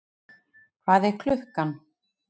Hvað er klukkan?